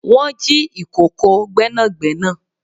Wọn jì ìkòkò Gbẹ́nàgbẹ́nà